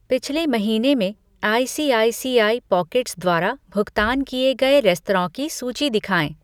पिछले महीने में आईसीआईसीआई पॉकेट्स द्वारा भुगतान किए गए रेस्तराँ की सूची दिखाएँ।